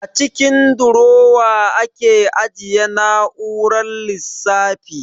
A cikin durowa ake ajiye na'urar lissafi